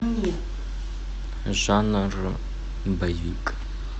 жанр боевик